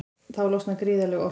Þá losnar gríðarleg orka.